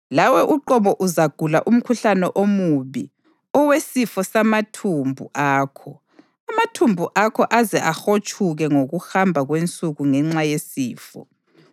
Lawe uqobo uzagula umkhuhlane omubi owesifo samathumbu akho, amathumbu akho aze ahotshuke ngokuhamba kwensuku ngenxa yesifo.’ ”